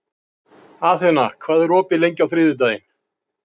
Athena, hvað er opið lengi á þriðjudaginn?